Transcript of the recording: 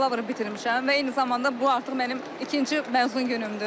Mən bakalavrımı bitirmişəm və eyni zamanda bu artıq mənim ikinci məzun günümdür.